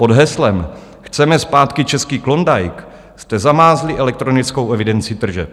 Pod heslem "chceme zpátky český Klondike" jste zamázli elektronickou evidenci tržeb.